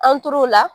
An tor'o la